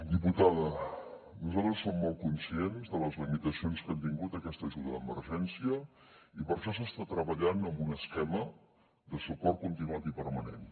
diputada nosaltres som molt conscients de les limitacions que ha tingut aquesta ajuda d’emergència i per això s’està treballant en un esquema de suport continuat i permanent